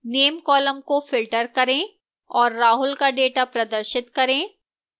name column को filter करें और राहुल का data प्रदर्शित करें